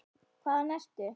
Hvaðan ertu?